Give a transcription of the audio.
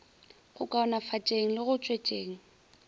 go kaonafatšeng le go tšwetšeng